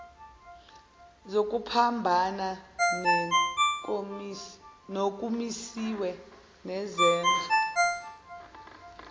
zokuphambana nokumisiwe nezenzo